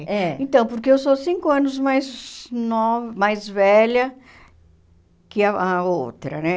É. Então, porque eu sou cinco anos mais nova mais velha que a a outra, né?